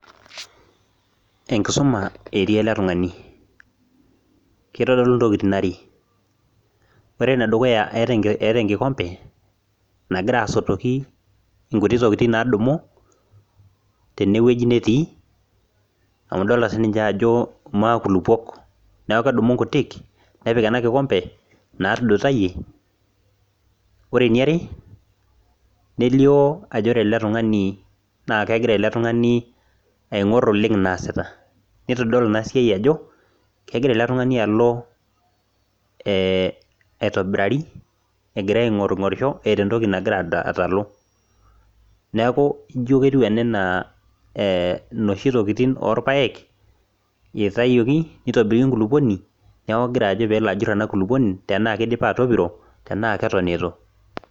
enkisuma etii ele tung'ani amu itodolu iwejitin are, ore ene duuya eeta enkikombe nagira asotoki inkutiti tokitin naadumudumu, teneweji netii amu idolta sii ninye ajo makulukuok amu idolta ajo kedumu inkutik naa tudutayie, ore eniare nelio ajo ore eletung'ani naa kijalie oleng' enasiai naa sita, nitodolu ina siai ajo kegira eletung'ani alo aitobiraki egira aing'oring'orisho eeta entoki nagira aing'oru, neeku ijo ketiu ene enaa inoshi tokitin kuna ooilpayek, itayioki nejuri enkulukuoni tenaa ketopiro tenaa ketu.